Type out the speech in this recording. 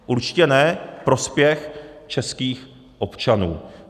Určitě ne prospěch českých občanů.